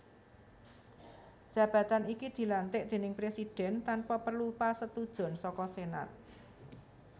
Jabatan iki dilantik déning Presidhèn tanpa perlu pasetujon saka Senat